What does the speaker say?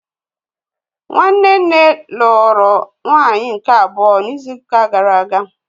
Nwanne nne lụrụ nwaanyị nke abụọ n'izu ụka gara aga